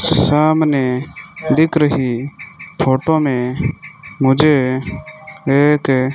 सामने दिख रही फोटो में मुझे एक --